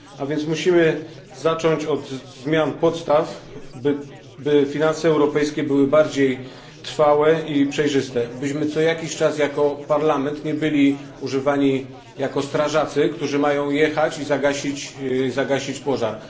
A więc musimy zacząć od zmian podstaw, by finanse europejskie były bardziej trwałe i przejrzyste, byśmy co jakiś czas jako Parlament nie byli używani jako strażacy, którzy mają jechać i zagasić pożar.